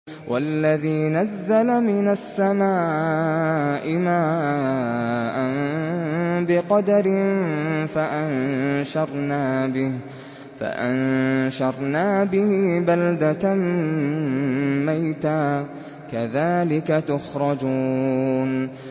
وَالَّذِي نَزَّلَ مِنَ السَّمَاءِ مَاءً بِقَدَرٍ فَأَنشَرْنَا بِهِ بَلْدَةً مَّيْتًا ۚ كَذَٰلِكَ تُخْرَجُونَ